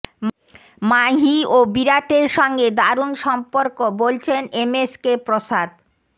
মাহি ও বিরাটের সঙ্গে দারুণ সম্পর্ক বলছেন এমএসকে প্রসাদ